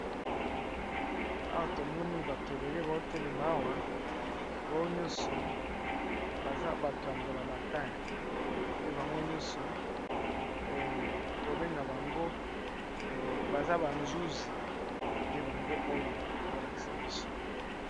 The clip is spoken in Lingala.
Awa tomoni bato ebele bao telema awa bao nyonso baza bato ya mbula matari, pe bango nyonso tobenga bango baza ba nzuzi nde bango oyo bao lakisa biso.